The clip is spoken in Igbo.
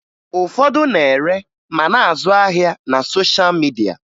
Ụfọdụ na-ere ma na-azụ ahịa na sosha midia